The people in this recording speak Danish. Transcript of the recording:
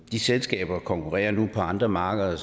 de selskaber konkurrerer nu på andre markeder